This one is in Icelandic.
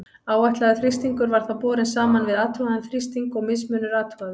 Áætlaður þrýstingur var þá borinn saman við athugaðan þrýsting og mismunur athugaður.